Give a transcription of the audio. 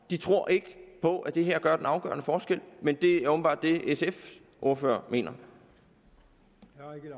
de tror ikke på at det her gør den afgørende forskel men det er åbenbart det sfs ordfører mener